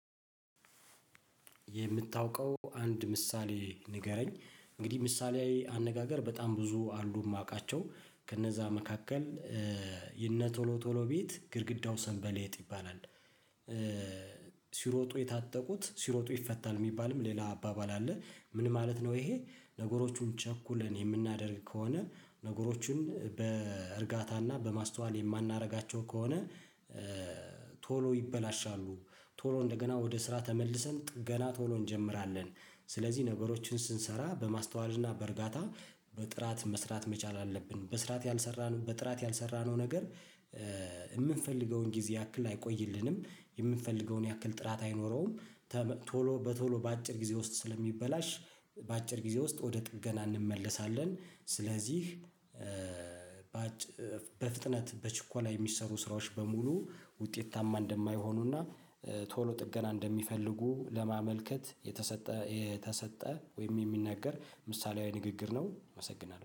የምታውቀው አንድ ምሳሌ ንገረኝ እንግዲህ ምሳሌያዊ አነጋገር በጣም ብዙ አሉ የማውቃቸው ከነዛ መካከል የእነ ቶሎ ቶሎ ቤት ግድግዳው ሰንበሌጥ ይባላል። ሲሮጡ የታጠቁት ሲሮጡ ይፈታል የሚባልም ሌላ አባባል አለ ምን ማለት ነው? ይሄ ነገሮቹን ቸኩለን የምናደርግ ከሆነ ነገሮቹን በእርጋታና በማስተዋል የማናደርጋቸው ከሆነ። ቶሎ ይበላሻሉ ቶሎ እንደገና ወደ ስራ ተመልሰን ጥገና ቶሎ እንጀምራለን። ስለዚህ ነገሮችን ስንሰራ በማስተዋልና በእርጋታ በጥራት መስራት መቻል አለብን በስርዓት ያልሰራነው በጥራት ያልሰራነው ነገር። የምንፈልገውን ጊዜ ያክል አይቆይልንም የምንፈልገውን ያክል ጥራት አይኖረውም። ቶሎ በቶሎ በአጭር ጊዜ ውስጥ ስለሚበላሽ በአጭር ጊዜ ውስጥ ወደ ጥገና እንመለሳለን ስለዚህ። በፍጥነት በችኮላ የሚሰሩ ስራዎች በሙሉ ውጤታማ እንደማይሆኑና ቶሎ ጥገና እንደሚፈልጉ ለማመልከት የተሰጠ የተሰጠ ወይም የሚነገር ምሳሌያዊ ንግግር ነው አመሰግናለሁ